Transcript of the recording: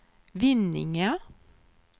Vinninga